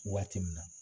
Waati min na